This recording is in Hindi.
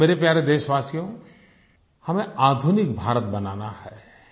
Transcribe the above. मेरे प्यारे देशवासियो हमें आधुनिक भारत बनाना है